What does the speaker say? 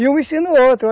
E um ensina o outro.